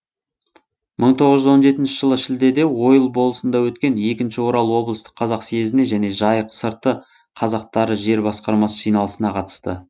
мың тоғыз жүз он жетінші жылы шілдеде ойыл болысында өткен екінші орал облыстық қазақ съезіне және жайық сырты қазақтары жер басқармасы жиналысына қатысты